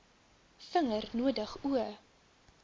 vinger nodig o